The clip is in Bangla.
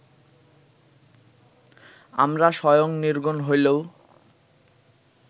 আমরা স্বয়ং নির্গুণ হইলেও